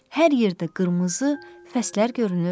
Hər yerdə qırmızı fəslər görünür.